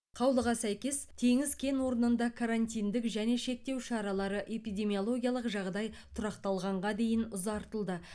қаулыға сәйкес теңіз кен орнында карантиндік және шектеу шаралары эпидемиологиялық жағдай тұрақталғанға дейін ұзартылды